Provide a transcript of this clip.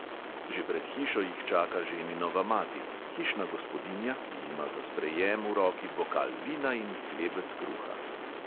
Že pred hišo jih čaka ženinova mati – hišna gospodinja, ki ima za sprejem v roki bokal vina in hlebec kruha.